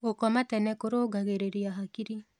Gũkoma tene kũrũngagĩrĩrĩa hakĩrĩ